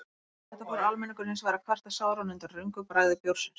Eftir þetta fór almenningur hins vegar að kvarta sáran undan röngu bragði bjórsins.